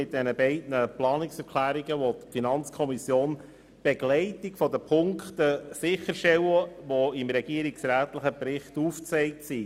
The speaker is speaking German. Mit diesen beiden Planungserklärungen will die FiKo die Begleitung der Punkte sicherstellen, die im regierungsrätlichen Bericht aufgezeigt werden.